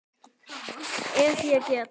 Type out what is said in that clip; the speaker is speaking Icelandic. Ef ég get.